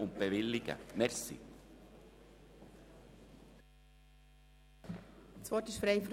Das Wort ist frei für die Fraktionen.